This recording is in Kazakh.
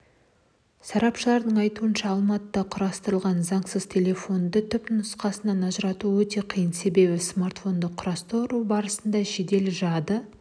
сарапшылардың айтуынша алматыда құрастырылған заңсыз телефонды түпнұсқадан ажырату өте қиын себебі смартфонды құрастыру барысында жедел жады